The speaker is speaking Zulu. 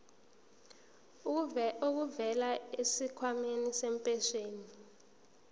elivela kwisikhwama sempesheni